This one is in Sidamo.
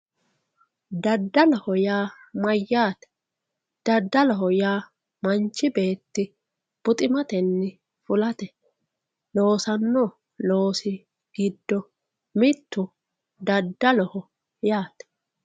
Dadaloho yaa mayaate dadaloho yaa manchi beeti buximateni fulate loosano loosi giddo mittu dadaloho